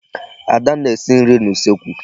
Ada na-esi nri n'usekwu.